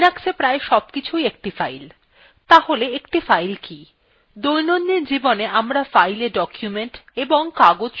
তাহলে একটি file কি দৈনন্দিন জীবনে আমরা filewe documents এবং কাগজ সংরক্ষণ করি